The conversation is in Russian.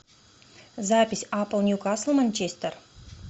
запись апл ньюкасл манчестер